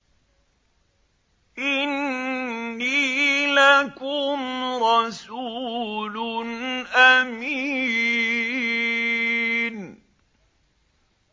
إِنِّي لَكُمْ رَسُولٌ أَمِينٌ